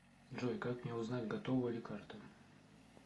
джой как мне узнать готова ли карта